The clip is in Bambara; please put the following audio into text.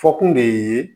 Fɔ kun de ye